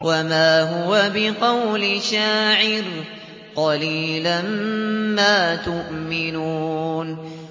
وَمَا هُوَ بِقَوْلِ شَاعِرٍ ۚ قَلِيلًا مَّا تُؤْمِنُونَ